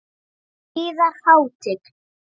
Yðar Hátign!